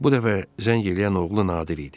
Bu dəfə zəng eləyən oğlu Nadir idi.